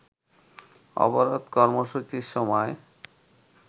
অবরোধ কর্মসূচির সময়